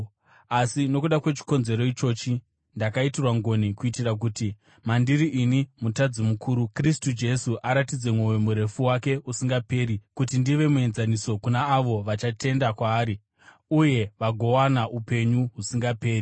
Asi nokuda kwechikonzero ichochi ndakaitirwa ngoni kuitira kuti mandiri ini mutadzi mukuru, Kristu Jesu aratidze mwoyo murefu wake usingaperi kuti ndive muenzaniso kuna avo vachatenda kwaari uye vagowana upenyu husingaperi.